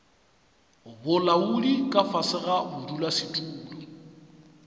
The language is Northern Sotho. bolaodi ka fase ga bodulasetulo